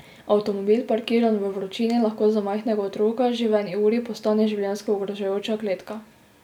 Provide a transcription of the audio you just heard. Avtomobil, parkiran v vročini, lahko za majhnega otroka že v eni uri postane življenjsko ogrožajoča kletka.